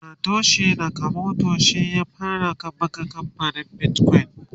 Satoshi nakamoto shi ya fara kamfanin bitcoin